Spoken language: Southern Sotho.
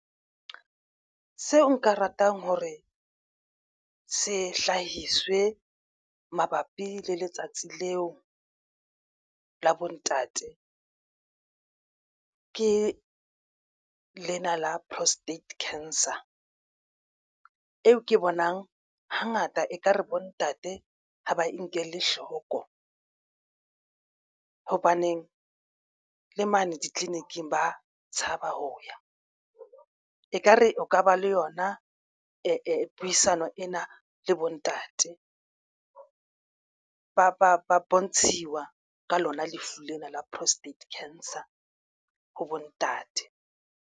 Seo nka ratang hore se hlahiswe mabapi le letsatsi leo la bontate. Ke lena la prostate cancer eo ke bonang hangata ekare bo ntate ha ba e nkele hloko hobaneng le mane ditleliniking ba tshaba ho ya ekare o ka ba le yona puisano ena le bo ntate ba bontshiwa ka lona lefu lena la prostate cancer ho bontate.